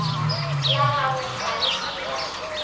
la gago ga se la